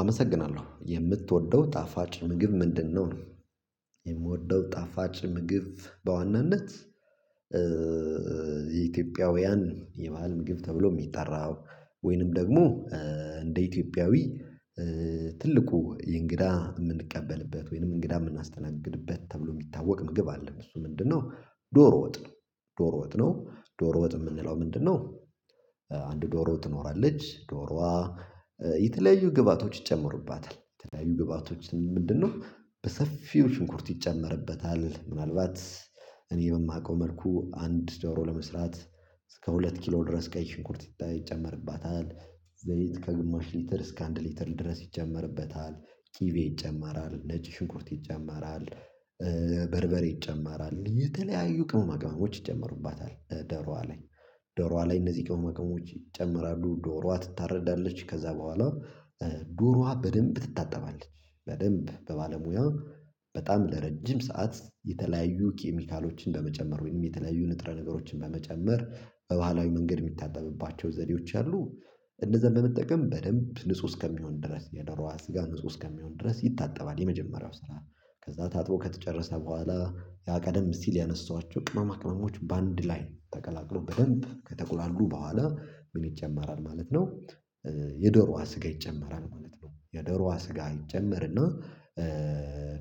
አመሰግናለሁ የምትወደው ጣፋጭ ምግብ ምንድነው ነው? የምወደው ጣፋጭ ምግብ በዋናነት የኢትዮጵያውያን የባህል ምግብ ተብሎ የሚጠራ ወይንም ደግሞ እንደ ኢትዮጵያዊ ኧ ትልቁ የእንግዳ የምንቀበልበት ወይንም እንግዳ የምናስተናግድበት ተብሎ የሚታወቅ ምግብ አለን እሱ ምንድነው ዶሮ ወጥ ነው ዶሮ ወጥ ነው ዶሮ ወጥ የምንለው ምንድነው አንድ ዶሮ ትኖራለች ዶሮዋ የተለያዩ ግብአቶች ይጨምርባታል የተለያዩ ግብአቶች ምንድነው በሰፊው ሽንኩርት ይጨመርበታል ምናልባት እኔ የማቀው መልኩ አንድ ዶሮ ለመስራት እስከ ሁለት ኪሎ ድረስ ቀይ ሽንኩርት ይጨመርባታል ዘይት ከግሞሽ ሊትር እስከ አንድ ሊትር ድረስ ይጨመርበታል ቅቤ ይጨመራል ነጭ ሽንኩርት ይጨመራል ኧ በርበሬ ይጨመራል የተለያዩ ቅመማ ቅመሞች ይጨመሩባታል እደሯ ላይ ደሯ ላይ እነዚህ ጋር ቅመማ ቅመሞች ይጨምራሉ ዶሯ ትታረዳለች ከዛ በኋላው ዶሯ በደንብ ትታጠባለች በደንብ በባለሙያ በጣም ለረጅም ሰዓት የተለያዩ ኬሚካሎችን በመጨመር ወይንም የተለያዩ ንጥረ ነገሮችን በመጨመር በባህላዊ መንገድ የሚታጠብባቸው ዘዴዎች አሉ እነዛን በመጠቀም በደንብ ንጹህ እስከሚሆን ድረስ የደሮዋ ስጋ ንጹህ እስከሚሆን ድረስ ይታጠባል የመጀመሪያው ስራ ከዛ ታጥቦ ከተጨረሰ በኋላ ያ ቀደም ሲል ያነሳኋቸው ቅመማ ቅመሞች በአንድ ላይ ተቀላቅሎ በደንብ ከተቆላሉ በኋላ ምን ይጨመራል ማለት ነው። የደሮዋ ስጋ ይጨመራል። የዶሮዋ ስጋ ይጨመርና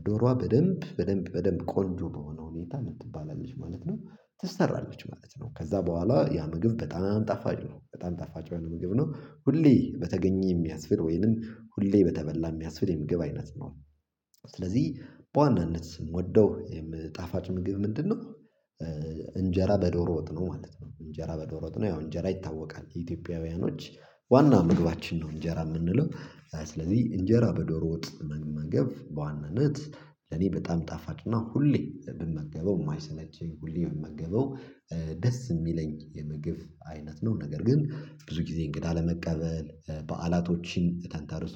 ዶሮዋ በደንብ በደንብ በደንብ ቆንጆ በሆነ ሁኔታ ምን ትባላለች ማለት ነው ተሰራላችሁ ማለት ነው ከዛ በኋላ ያ ምግብ በጣም ጠፋጭ ነው በጣም ጠፋጭ የሆነ ምግብ ነው ሁሌ በተገኘ የሚያስብል ወይንም ሁሌ በተበላ የሚያስብል የምግብ አይነት ነው ስለዚህ በዋናነት የምወደው የምጣፋጭ ምግብ ምንድነው እንጀራ በዶሮ ወጥ ነው ማለት ነው እንጀራ በዶሮ ወጥ ነው ወንጀራ ይታወቃል ኢትዮጵያውያኖች ዋና መግባችን ነው እንጀራ የምንለው ስለዚህ እንጀራ በዶሮ ወጥ መመገብ በዋናነት ለኔ በጣም ጣፋጭና ሁሌ ብንመገበው የማይሰለቸኝ ሁሌ ብመገበው ደስ የሚለኝ የምግብ አይነት ነው ነገር ግን ብዙ ጊዜ እንግዳ ለመቀበል በዓላቶችን ተንተርሶ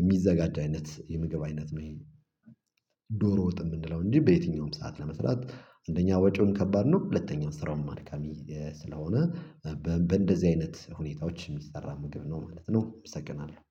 የሚዘጋጅ አይነት የምግብ አይነት ነው ይሄ ዶሮ ወጥ የምንለው እንጂ በየትኛውም ሰዓት ለመስራት አንደኛ ወጪውን ከባድ ነው ሁለተኛው ስራውን አድካሚ ስለሆነ በ በደዚህ አይነት ሁኔታዎች የሚሰራ ምግብ ነው ማለት ነው እሰግናለሁ